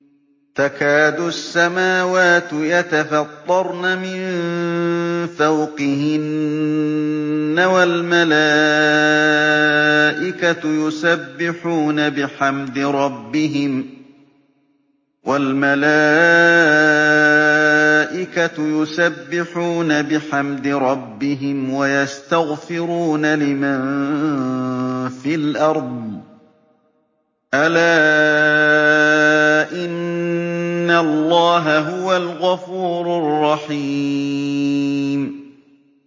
تَكَادُ السَّمَاوَاتُ يَتَفَطَّرْنَ مِن فَوْقِهِنَّ ۚ وَالْمَلَائِكَةُ يُسَبِّحُونَ بِحَمْدِ رَبِّهِمْ وَيَسْتَغْفِرُونَ لِمَن فِي الْأَرْضِ ۗ أَلَا إِنَّ اللَّهَ هُوَ الْغَفُورُ الرَّحِيمُ